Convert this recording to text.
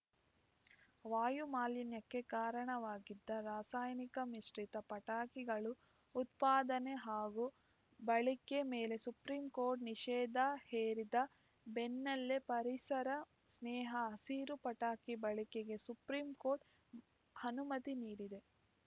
ವಾಯು ಮಾಲಿನ್ಯಕ್ಕೆ ಕಾರಣವಾಗಿದ್ದ ರಾಸಾಯನಿಕ ಮಿಶ್ರಿತ ಪಟಾಕಿಗಳು ಉತ್ಪಾದನೆ ಹಾಗೂ ಬಳಕೆ ಮೇಲೆ ಸುಪ್ರೀಂ ಕೋರ್ಟ್ ನಿಷೇದ ಹೇರಿದ ಬೆನ್ನಲ್ಲೇ ಪರಿಸರ ಸ್ನೇಹ ಹಸಿರು ಪಟಾಕಿ ಬಳಕೆಗೆ ಸುಪ್ರೀಂ ಕೋರ್ಟ್ ಹನುಮತಿ ನೀಡಿದೆ